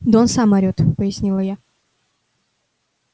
да он сам орёт пояснила я